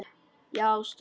Já, stóð heima!